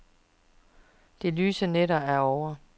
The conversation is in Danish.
De lyse nætter er ovre.